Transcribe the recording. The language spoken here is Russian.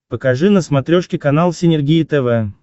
покажи на смотрешке канал синергия тв